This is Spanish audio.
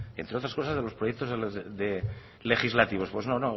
entre otras cosas de los proyectos legislativos pues